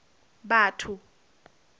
batho